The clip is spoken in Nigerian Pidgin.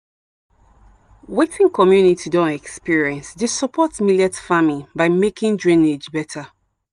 wetin community don experience dey support millet farming by making drainage better.